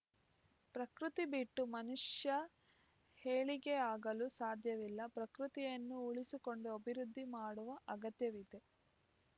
ಪ್ರಕೃತಿ ಬಿಟ್ಟು ಮನುಷ್ಯ ಏಳಿಗೆಯಾಗಲು ಸಾಧ್ಯವಿಲ್ಲ ಪ್ರಕೃತಿಯನ್ನು ಉಳಿಸಿಕೊಂಡು ಅಬಿವೃದ್ಧಿ ಮಾಡುವ ಅಗತ್ಯವಿದೆ